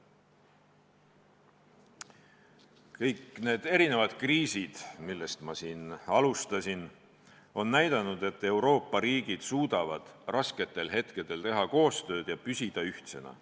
Kõik need kriisid, millest ma alustasin, on näidanud, et Euroopa riigid suudavad rasketel hetkedel teha koostööd ja püsida ühtsena.